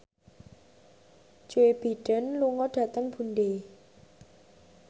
Joe Biden lunga dhateng Dundee